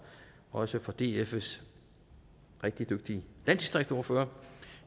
også fra dfs rigtig dygtige landdistriktsordfører om